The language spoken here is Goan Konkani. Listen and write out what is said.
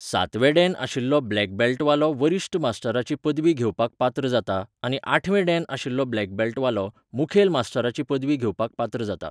सातवें डॅन आशिल्लो ब्लॅक बॅल्टवालो वरिश्ठ मास्टराची पदवी घेवपाक पात्र जाता आनी आठवें डॅन आशिल्लो ब्लॅक बॅल्टवालो, मुखेल मास्टराची पदवी घेवपाक पात्र जाता.